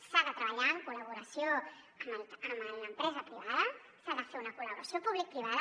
s’ha de treballar en col·laboració amb l’empresa privada s’ha de fer una col·laboració publicoprivada